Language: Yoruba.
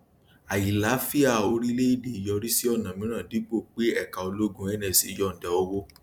àìlàáfíà orílẹèdè yọrí sí ọnà mìíràn dípò pé ẹka ológun nsa yọndà owó